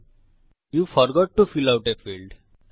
you forgot to fill out a fieldআপনি field ভরতে ভুলে গেছেন